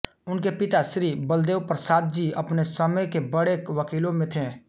उनके पिता श्री बलदेवप्रसाद जी अपने समय के बड़े वकीलों में थे